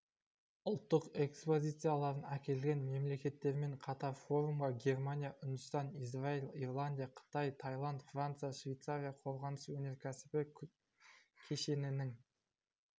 ұлттық экспозицияларын әкелген мемлекеттермен қатар форумға германия үндістан израиль ирландия қытай таиланд франция швейцария қорғаныс-өнеркәсібі кешенінің